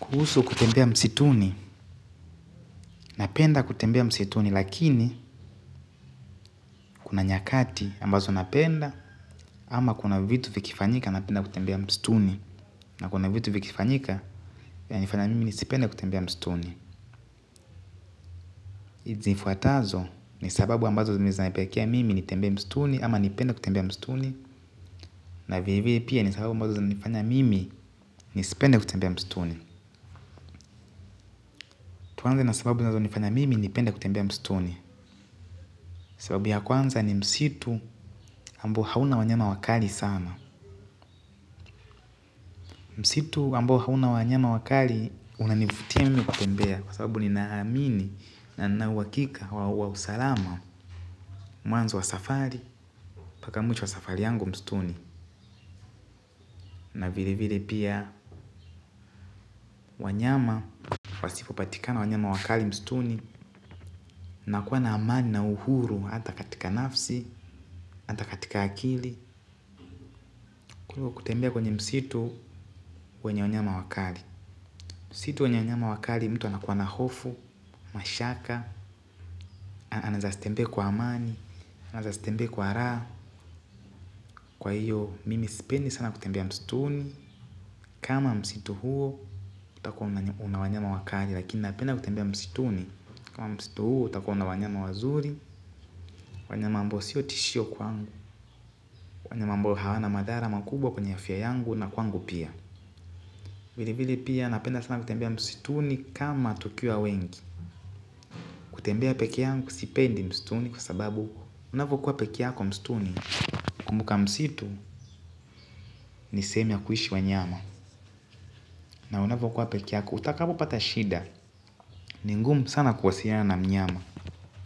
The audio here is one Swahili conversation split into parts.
Kuhusu kutembea msituni, napenda kutembea msituni lakini kuna nyakati ambazo napenda ama kuna vitu vikifanyika napenda kutembea msituni na kuna vitu vikifanyika ya nifanya mimi nisipende kutembea msituni ziifuatazo ni sababu ambazo za nifanya mimi nisipende kutembea msituni ama nipende kutembea msituni na vilevile pia ni sababu ambazo za nifanya mimi nisipende kutembea msituni. Tuanze na sababu zinazo nifanya mimi nipende kutembea msituni sababu ya kwanza ni msitu ambao hauna wanyama wakali sana. Msitu ambo hauna wanyama wakali unanivutia mimi kutembea. Kwa sababu ninaamini na ninauwakika wa usalama mwanzo wa safari mpaka mwisho wa safari yangu msituni na vilevile pia wanyama wasipopatikana wanyama wakali msituni nakua na amani na uhuru hata katika nafsi hata katika akili kuliko kutembea kwenye msitu wenye wanyama wakali msitu wenyewanyama wakali mtu anakuwa na hofu, mashaka, anazastembe kwa amani, anazastembe kwa raa, kwa hiyo mimi sipendi sana kutembea mstuni, kama msitu huo utakua unawanyama wakali lakini napenda kutembea mstuni, kama mstitu huo utakua unawanyama wazuri, wanyama mbo sio tishio kwangu, wanyama mbo hawana madara makubwa kwenye afya yangu na kwangu pia. Vili vili pia napenda sana kutembea msituni kama tukia wengi. Kutembea peke yangu sipendi msituni kwa sababu unafu kuwa peke yako msituni. Kumbuka msitu ni semi ya kuishi wa nyama. Na unavyo kuwa peke yako utakapo patashida ni ngumu sana kuwasiliana na mnyama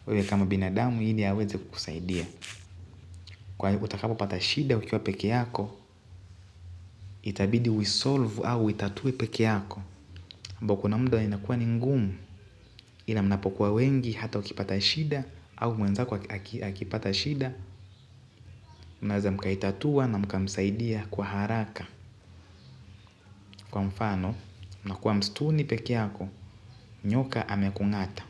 wewe kama binadamu ili aweze kusaidia kwa hivo utakapo pata shida ukiwa peke yako. Itabidi uisolvu au itatue peke yako ambao kuna mda inakua ningumu. Ila mnapokuwa wengi hata ukipata shida au mwenzako akipata shida, mnaweza mkaitatua na mkamsaidia kwa haraka. Kwa mfano, mna kuwa mstuni pekeyako, nyoka amekungata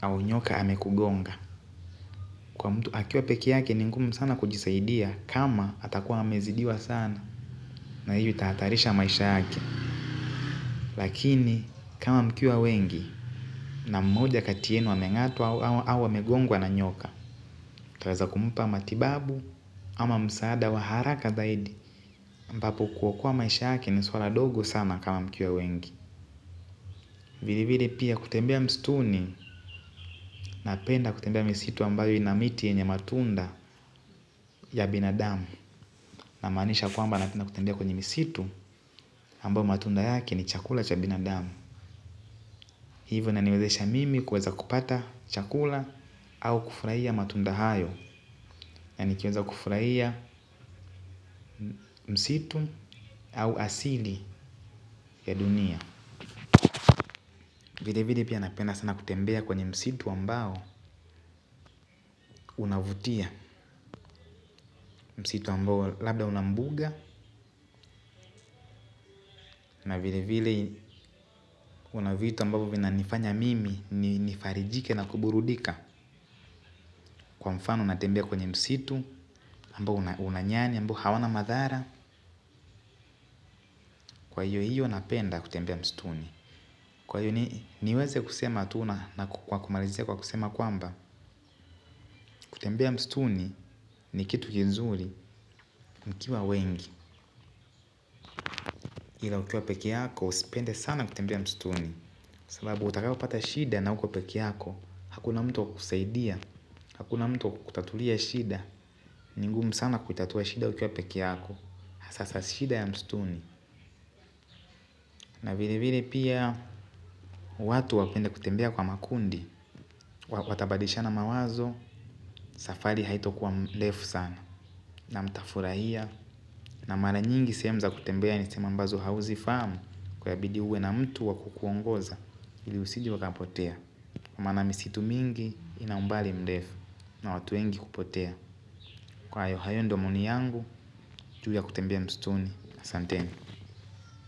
au nyoka amekugonga. Kwa mtu akiwa pekeyake ningumu sana kujisaidia kama hatakuwa amezidiwa sana na hio itahatarisha maisha yake. Lakini kama mkiwa wengi na mmoja katiyenu wa mengatwa au awe megongwa na nyoka mtaweza kumpa matibabu ama msaada wa haraka zaidi ambapo kuokoa maisha yake ni swala dogo sana kama mkiwa wengi. Vile vile pia kutembea mstuni na penda kutembea misitu ambayo inamiti yenye matunda ya binadamu. Na manisha kwamba napenda kutembea kwenye misitu ambayo matunda yake ni chakula cha binadamu. Hivyo inaniwezesha mimi kuweza kupata chakula au kufraia matundahayo na nikiweza kufraia msitu au asili ya dunia. Vile vile pia napenda sana kutembea kwenye msitu ambao unavutia msitu ambao labda unambuga na vile vile unavutu ambao vina nifanya mimi nifarijike na kuburudika kwa mfano unatembea kwenye msitu ambao unanyani ambao hawana madhara kwa hiyo hiyo napenda kutembea mstuni. Kwa hio niweze kusema atuna na kumarizia kwa kusema kwamba kutembea mstuni ni kitu kizuri mkiwa wengi. Ila ukiwa peke yako usipende sana kutembea mstuni. Sababu utakapo pata shida na uko peke yako. Hakuna mtu wa kusaidia, hakuna mtu kutatulia shida. Ningumu sana kutatua shida ukiwa peke yako hasaa shida ya mstuni. Na vile vile pia watu wapende kutembea kwa makundi. Watabadisha na mawazo, safari haito kwa mlefu sana. Na mtafurahia. Na mara nyingi sehemuza kutembea ni sehemu mbazo hauzi fahamu. Kwa ya bidiuwe na mtu wakukuongoza ili usije uwakapotea. Kwa maana misitu mingi inaumbali mlefu. Na watuwengi hupotea. Kwa hayo hayo ndiomaoni yangu. Ju ya kutembea mstuni asanteni.